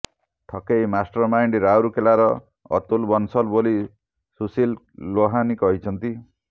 ଠକେଇ mastermind ରାଉରକେଲାର ଅତୁଲ ବଂଶଲ ବୋଲି ସୁଶିଲ ଲୋହାନୀ କହିଛନ୍ତି